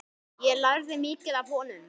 Ég lærði mikið af honum.